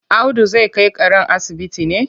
Audu zai kai karen asibiti ne?